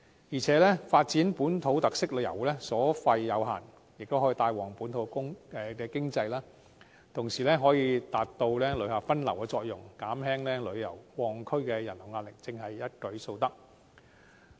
而且，發展本土特色遊所費有限，亦可帶旺本土經濟，同時可以發揮旅客分流的作用，減輕旅遊旺區的人流壓力，真是一舉數得。